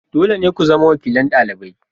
Dole ne ku zama wakilin dalibai.